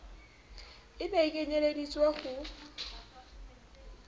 e ne e kenyelleditswe ho